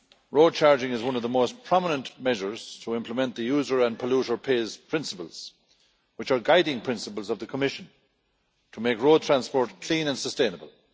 Road charging is one of the most prominent measures to implement the user and polluter pays' principles, which are guiding principles of the Commission to make road transport clean and sustainable.